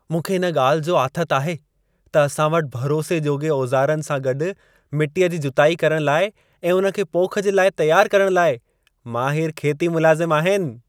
मूंखे इन ॻाल्हि जो आथत आहे त असां वटि भरोसे जोॻे औज़ारनि सां गॾु मिट्टीअ जी जुताई करण लाइ ऐं उन खे पोख जे लाइ तियारु करण लाइ माहिरु खेती मुलाज़िमु आहिनि।